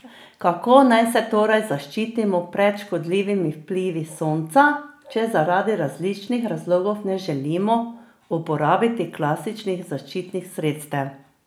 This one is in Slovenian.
Kako naj se torej zaščitimo pred škodljivimi vplivi sonca, če zaradi različnih razlogov ne želimo uporabljati klasičnih zaščitnih sredstev?